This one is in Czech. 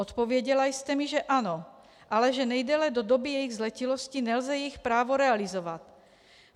Odpověděla jste mi, že ano, ale že nejdéle do doby jejich zletilosti nelze jejich právo realizovat.